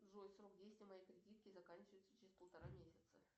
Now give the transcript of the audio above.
джой срок действия моей кредитки заканчивается через полтора месяца